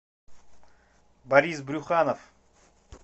борис брюханов